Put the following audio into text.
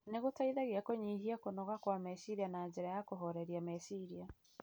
nĩ gũteithagia kũnyihia kũnoga kwa meciria na njĩra ya kũhooreria meciria.